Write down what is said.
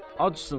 Acsın.